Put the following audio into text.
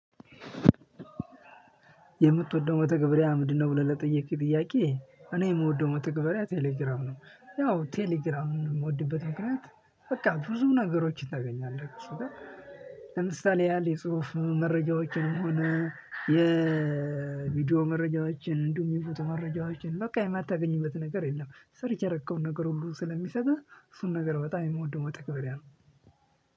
የምትወደው መተግበሪያ ምንድነው ብለህ ለጠየቅክ ጥያቄ እኔ የምወደው መተግበሪያ ቴሌግራም ነው። ያው ቴሌግራም የምወድበት ምክንያት በቃ ብዙ ነገሮችን ታገኛለህ እሱ ጋር። ለምሳሌ ያህል የጽሁፍ መረጃዎችንም ሆነ የቪዲዮ መረጃዎችን እንዲሁም የፎቶ መረጃዎችን በቃ የማታገኝበት ነገር የለም። ሰርች ያረከውን ነገር ሁሉ ስለሚሰጥህ እሱን ነገር በጣም የምወደው መተገበሪያ ነው።